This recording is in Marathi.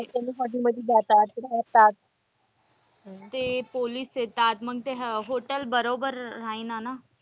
Hotel मध्ये जातात रहातात. ते पोलिस येतात मग ते hotel बरोबर राहीना ना.